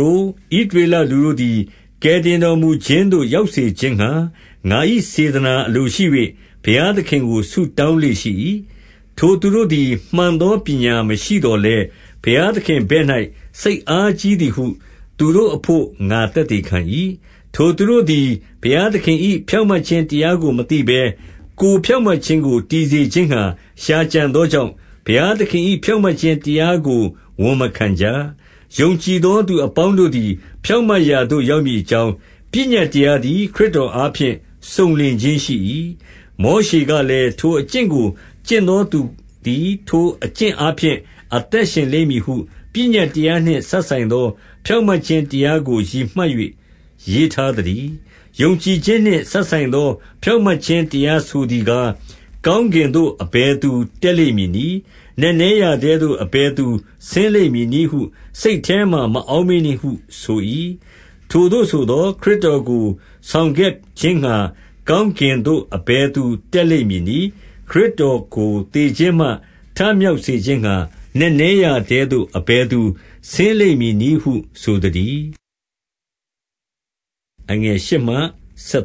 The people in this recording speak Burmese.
တို့၊ ဣသရေလလူတို့သည် ကယ်တင်တော်မူခြင်းသို့ ရောက်စေခြင်းငှါ၊ ငါ၏စေတနာ အလိုရှိ၍ ဘုရားသခင်ကို ဆုတောင်းလေ့ရှိ၏။ 2 ထိုသူတို့သည် မှန်သောပညာမရှိသော်လည်း၊ ဘုရားသခင် ဘက်၌ စိတ်အားကြီးသည်ဟု သူတို့အဘို့ ငါသက်သေခံ၏။ 3 ထိုသူတို့သည် ဘုရားသခင်၏ ဖြောင့်မတ်ခြင်းတရားကို မသိဘဲ၊ ကိုယ်ဖြောင့်မတ်ခြင်းကို တည်စေခြင်း ငှါ ရှာကြံသောကြောင့်၊ ဘုရားသခင်၏ ဖြောင့်မတ်ခြင်း တရားကို ဝန်မခံကြ။ 4 ယုံကြည်သောသူအပေါင်းတို့သည် ဖြောင့်မတ်ရာသို့ ရောက်မည်အကြောင်း၊ ပညတ်တရားသည် ခရစ်တော်အားဖြင့် စုံလင်ခြင်းရှိ၏။ 5 မောရှေကလည်း၊ ထိုအကျင့်ကို ကျင့်သောသူသည် ထိုအကျင့်အားဖြင့် အသက်ရှင်လိမ့်မည်ဟု ပညတ်၊ တရားနှင့်စပ်ဆိုင်သော ဖြောင့်မတ်ခြင်းတရားကို ရည်မှတ်၍ ရေးထားသတည်း။ 6 ယုံကြည်ခြင်းနှင့်စပ်ဆိုင်သော ဖြောင့်မတ်ခြင်းတရားဆိုသည်ကား၊ 7 ကောင်းကင်သို့ အဘယ်သူတက်လိမ့်မည်နည်း။ နက်နဲရာထဲသို့ အဘယ်သူဆင်းလိမ့်မည်နည်းဟု စိတ်ထဲမှာ မအောက်မေ့နှင့်ဟု ဆို၏။ ထိုသို့ဆိုသော်၊ ခရစ်တော်ကို ဆောင်ခဲ့ခြင်းငှါကောင်းကင်သို့ အဘယ်သူ တက်လိမ့်မည်နည်း။ ခရစ်တော်ကို သေခြင်းမှ ထမြောက်စေခြင်းငှါ နက်နဲရာထဲသို့ အဘယ်သူ ဆင်းလိမ့်မည်နည်းဟု ဆိုလိုသတည်း။ 8